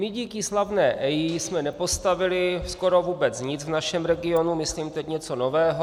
My díky slavné EIA jsme nepostavili skoro vůbec nic v našem regionu, myslím teď něco nového.